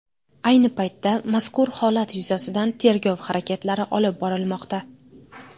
Ayni paytda mazkur holat yuzasidan tergov harakatlari olib borilmoqda.